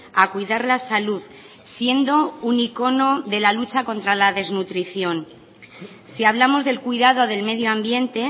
a cuidar la salud siendo un icono de la lucha contra la desnutrición si hablamos del cuidado del medio ambiente